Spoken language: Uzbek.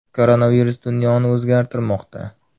Koronavirus dunyoni o‘zgartirmoqda.